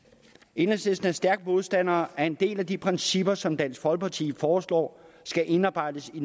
enhedslisten er en stærk modstander af en del af de principper som dansk folkeparti foreslår skal indarbejdes i